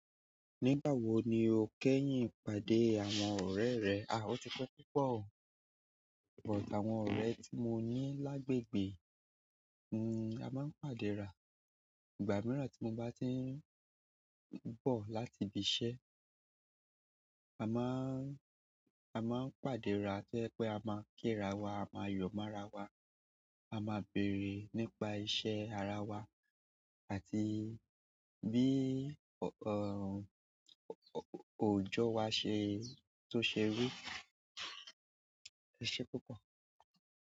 Nígbà wo ni o kẹ́yìn pàdé àwọn ọ̀rẹ́ rẹ? A, ó ti pẹ́ púpọ̀. But àwọn ọ̀rẹ́ tí mo ní lágbègbè, hm, a máa ń pàdé ra. Ìgbà mìíràn tí mo bá ti ń bọ̀ láti ibi iṣẹ́, a má ń, a máa ń pàdé ra tó jẹ́ pé a máa kí ara wa, a máa yọ̀ mára wa, a máa béèrè nípa iṣẹ́ ara wa àti bí, er, ò, ò, òjò wa ṣe tó ṣe rí. Ó ṣe púpọ̀.